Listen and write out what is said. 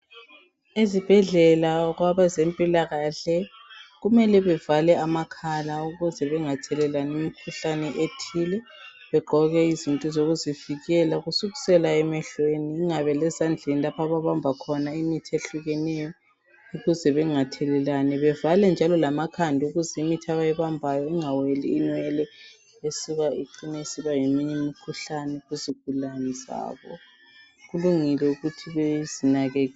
Eziibhedlela kwabezempilakahle kumele bavale amakhala ukuze bangathelelani imikhuhlane ethile bagqoke izinto zokuzivikela kusukela emehlweni ingabe lezandleni lapho abamba khona imithi ehlukeneyo ukuze bengatgelelani, bavale njalo lamakhanda ukuze imithi abayibambayo ingangeni inwele icine isiva ngeminye imikhuhlane kuzigulane zabo kulungile ukuthi bazinakekele.